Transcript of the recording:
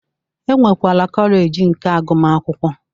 E nwekwara kọleji nke agụmakwụkwọ